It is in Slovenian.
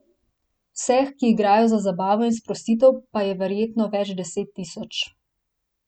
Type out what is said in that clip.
Vseh, ki igrajo za zabavo in sprostitev, pa je verjetno več deset tisoč.